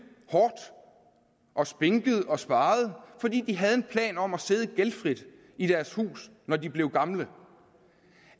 og spinket og sparet fordi de havde en plan om at sidde gældfrit i deres hus når de blev gamle